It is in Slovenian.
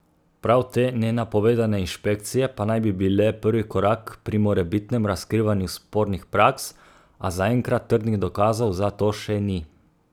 Prav te nenapovedane inšpekcije pa naj bi bile prvi korak pri morebitnem razkrivanju spornih praks, a zaenkrat trdnih dokazov za to še ni.